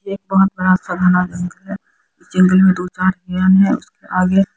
एक बहुत बड़ा साधना जंगल है जंगल में दो चार है उस आगे--